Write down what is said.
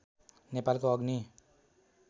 नेपालको अग्नि